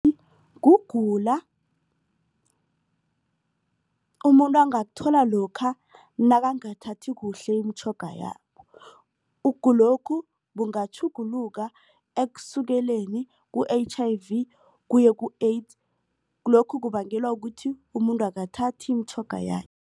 kugula umuntu angakuthola lokha nakangathathi kuhle imitjhoga yakhe. Ukugulokhu bungatjhuguluka ekusukeleni ku-H_I_V kuye ku-AIDS lokhu kubangelwa kuthi umuntu akathathi imitjhoga